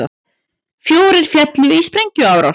Fjórir féllu í sprengjuárás